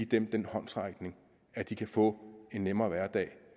den den håndsrækning at de kan få en nemmere hverdag